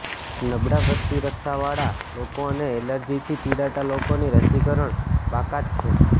નબળા પ્રતિરક્ષાવાળા લોકો અને એલર્જીથી પીડાતા લોકોની રસીકરણ બાકાત છે